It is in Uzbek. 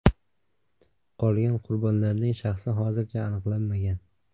Qolgan qurbonlarning shaxsi hozircha aniqlanmagan.